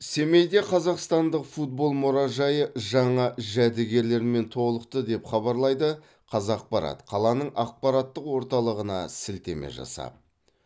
семейде қазақстандық футбол мұражайы жаңа жәдігерлермен толықты деп хабарлайды қазақпарат қаланың ақпараттық орталығына сілтеме жасап